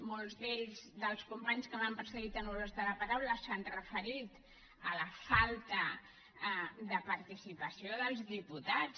molts d’ells dels companys que m’han precedit en l’ús de la paraula s’han referit a la falta de participació dels diputats